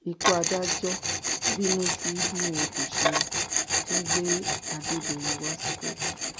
ikú adájọ bínú sí bí wọn kò ṣe tún gbé adédèyìn wa sí kóòtù